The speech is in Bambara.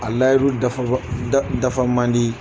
A layiru dafa da dafa man di.